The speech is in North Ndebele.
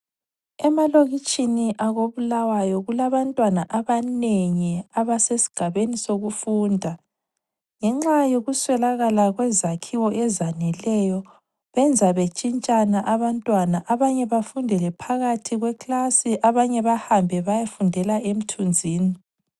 Emalokitshini akoBulawayo kulabantwana abanengi abasesigabeni sokufunda, ngenxa yokuswelakala kwezakhiwo ezaneleyo, benza bentshintshana abantwana. Abanye bafundele phakathi kwekilasi abanye bahambe bayefundela emthunzini.